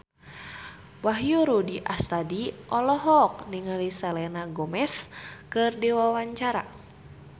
Wahyu Rudi Astadi olohok ningali Selena Gomez keur diwawancara